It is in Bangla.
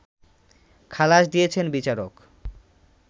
খালাস দিয়েছেন বিচারক